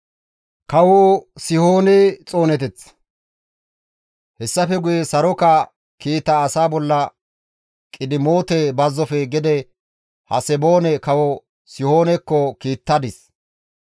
Hessafe guye saroka kiita asa bolla Qidimoote bazzofe gede Haseboone kawo Sihoonekko kiittadis.